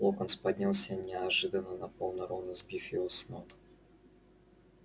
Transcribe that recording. локонс поднялся и неожиданно напал на рона сбив его с ног